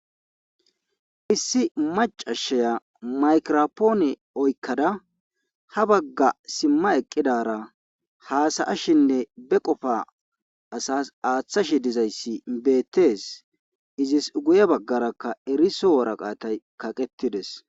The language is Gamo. Issi macashiya maykirapoone oyikkada ha bagga simma eqqidara haasayashinne ba qofa asas aaththashi diza issa beettes. Izis guye baggarakka eriso woraqatay kaqettides.